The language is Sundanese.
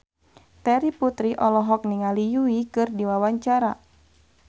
Terry Putri olohok ningali Yui keur diwawancara